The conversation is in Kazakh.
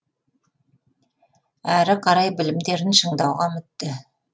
әрі қарай білімдерін шыңдауға үмітті